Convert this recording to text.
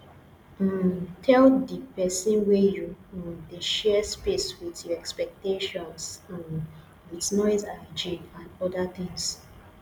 um tell di person wey you um dey share space with your expectations um with noise hygiene and oda things